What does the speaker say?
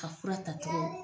Ka fura tacogo.